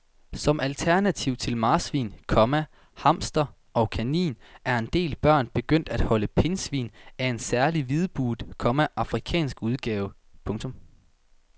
Som alternativ til marsvin, komma hamster og kanin er en del børn begyndt at holde pindsvin af en særlig hvidbuget, komma afrikansk udgave. punktum